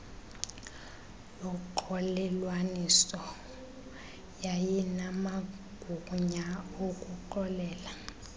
yoxolelwaniso yayinamagunya okuxolela